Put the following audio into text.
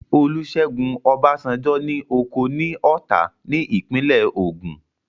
Olúṣẹ́gun Ọbásanjọ́ ní oko ní Ọ̀tà ní ìpínlẹ̀ Ògùn